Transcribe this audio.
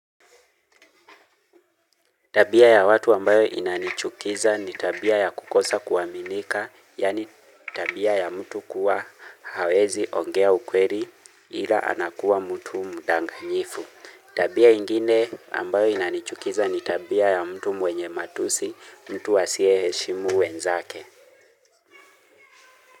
Tabia ya watu ambayo inanichukiza ni tabia ya kukosa kuaminika. Yaani tabia ya mtu kuwa hawezi ongea ukweli ila anakuwa mtu mdanganyifu. Tabia ingine ambayo inanichukiza ni tabia ya mtu mwenye matusi mtu asiyeheshimu wenzake.